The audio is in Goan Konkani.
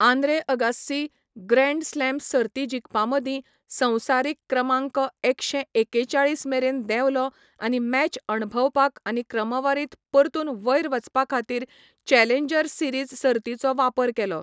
आंद्रे अगास्सी, ग्रॅण्ड स्लॅम सर्ती जिखपा मदीं, संवसारीक क्रमांक एकशे एकेचाळीस मेरेन देंवलो आनी मॅच अणभवाक आनी क्रमवारींत परतून वयर वचपा खातीर चॅलेंजर सिरिज सर्तींचो वापर केलो.